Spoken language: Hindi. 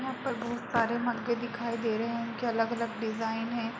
यहाँ पर बहुत सारे मक्के दिखाई दे रहे है उनके अलग-अलग डिज़ाइन हैं।